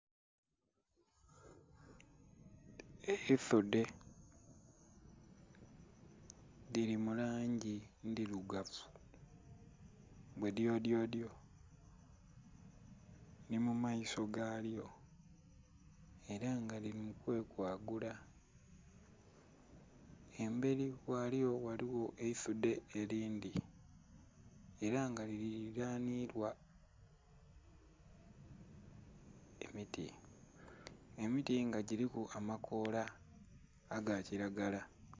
Ensudhe dhili mu langi endhirugavu bwe dyo dyo dyo nho mu maiso galwo era nga lili mu kwe kwakula emberi ghakyo ghaligho ensudhe eyindhi era nga lililanilwa emiti, emiti nga giliku amakoola aga kilagala.